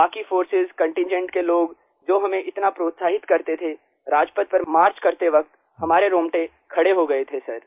बाकी forces contingent के लोग जो हमें इतना प्रोत्साहित करते थे राजपथ पर मार्च करते वक़्त हमारे रोंगटे खड़े हो गए थे सर